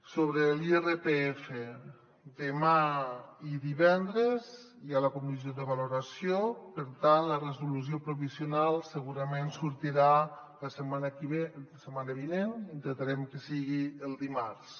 sobre l’irpf demà i divendres hi ha la comissió de valoració per tant la resolució provisional segurament sortirà la setmana vinent intentarem que sigui el dimarts